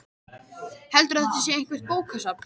Heldurðu að þetta sé eitthvert bókasafn?